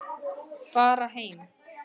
Fara heim.